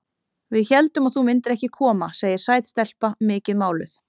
Við héldum að þú myndir ekki koma, segir sæt stelpa, mikið máluð.